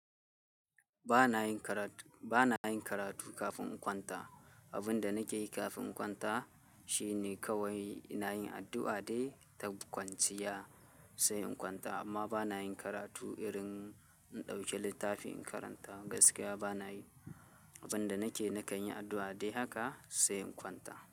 Banayin karatu kafin in kwanta. Abin da nake yi kafin in kwanta shine kawai ina yin addu'a dai ta kwanciya sai in kwanta amma ba na yin karatu irin in ɗauki littafi in karanta gaskiya ba na yi. Abin da nake na kan yi addu'a dai haka sai in kwanta.